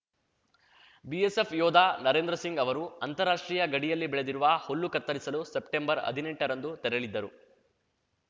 BSF ಯೋಧ ನರೇಂದ್ರ ಸಿಂಗ್‌ ಅವರು ಅಂತಾರಾಷ್ಟ್ರೀಯ ಗಡಿಯಲ್ಲಿ ಬೆಳೆದಿರುವ ಹುಲ್ಲು ಕತ್ತರಿಸಲು ಸೆಪ್ಟೆಂಬರ್ಹದ್ನೆಂಟರಂದು ತೆರಳಿದ್ದರು